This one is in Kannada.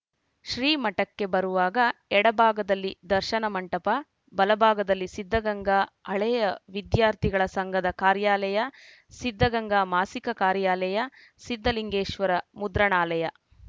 ಶ್ರೀಮಠಕ್ಕೆ ಬರುವಾಗ ಎಡಭಾಗದಲ್ಲಿ ದರ್ಶನ ಮಂಟಪ ಬಲಭಾಗದಲ್ಲಿ ಸಿದ್ಧಗಂಗಾ ಹಳೆಯ ವಿದ್ಯಾರ್ಥಿಗಳ ಸಂಘದ ಕಾರ್ಯಾಲಯ ಸಿದ್ಧಗಂಗಾ ಮಾಸಿಕ ಕಾರ್ಯಾಲಯ ಸಿದ್ಧಲಿಂಗೇಶ್ವರ ಮುದ್ರಣಾಲಯ